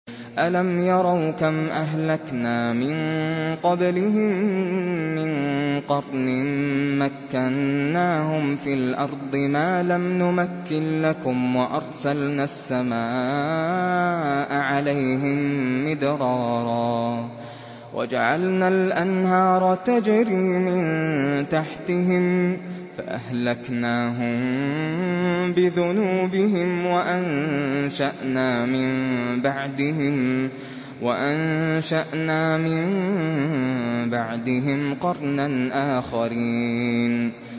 أَلَمْ يَرَوْا كَمْ أَهْلَكْنَا مِن قَبْلِهِم مِّن قَرْنٍ مَّكَّنَّاهُمْ فِي الْأَرْضِ مَا لَمْ نُمَكِّن لَّكُمْ وَأَرْسَلْنَا السَّمَاءَ عَلَيْهِم مِّدْرَارًا وَجَعَلْنَا الْأَنْهَارَ تَجْرِي مِن تَحْتِهِمْ فَأَهْلَكْنَاهُم بِذُنُوبِهِمْ وَأَنشَأْنَا مِن بَعْدِهِمْ قَرْنًا آخَرِينَ